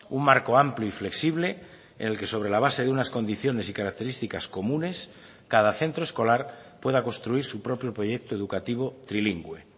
un marco amplio y flexible en el que sobre la base de unas condiciones y características comunes cada centro escolar pueda construir su propio proyecto educativo trilingüe